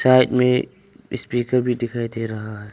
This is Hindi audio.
साइड में स्पीकर भी दिखाई दे रहा है।